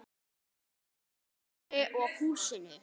Gunnari og húsinu.